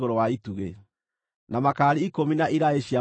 na makaari ikũmi na iraĩ ciamo ikũmi;